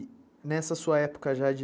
E nessa sua época já de...